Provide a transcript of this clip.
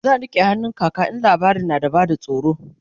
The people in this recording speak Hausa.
zan rike hannun kaka in labarin na da ban tsoro